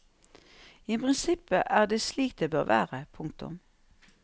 I prinsippet er det slik det bør være. punktum